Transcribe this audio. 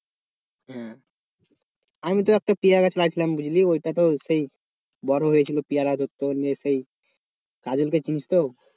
আমি তো একটা পেয়ারা গাছ লাগিয়েছিলাম বুঝলি ওইটা তো সেই বড় হয়েছিল পেয়ারা ও ধরতো দিয়ে সেই কাজল কে চিনিস তো?